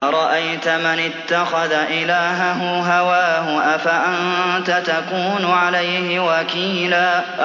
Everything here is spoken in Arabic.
أَرَأَيْتَ مَنِ اتَّخَذَ إِلَٰهَهُ هَوَاهُ أَفَأَنتَ تَكُونُ عَلَيْهِ وَكِيلًا